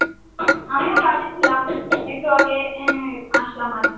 আমিও কাজে ছিলাম, একটু আগে আহ আসলাম আর কি।